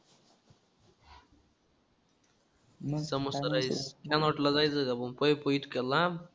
मस्त मस्त rice. हँगआऊटला जायचं का पण पायी पायी इतक्या लांब?